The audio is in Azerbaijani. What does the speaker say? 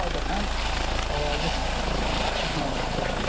Mən adətən ağacı çıxmağı çox xoşlayıram.